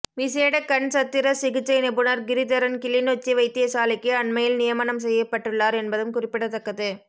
விசேட கண் சத்திர சிகிச்சை நிபுணர் கிரிதரன் கிளிநொச்சி வைத்தியசாலைக்கு அண்மையில் நியமனம் செய்யப்பட்டுள்ளார் என்பதும் குறிப்பிடத்தக்கது